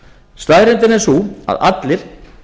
staðreyndin er sú að allir